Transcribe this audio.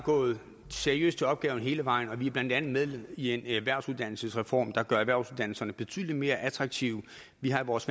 gået seriøst til opgaven hele vejen igennem og vi er blandt andet med i en erhvervsuddannelsesreform der gør erhvervsuddannelserne betydelig mere attraktive vi har i vores